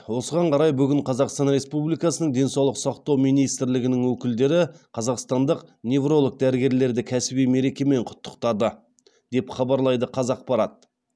осыған қарай бүгін қазақстан республикасының денсаулық сақтау министрлігінің өкілдері қазақстандық невролог дәрігерлерді кәсіби мерекемен құттықтады деп хабарлайды қазақпарат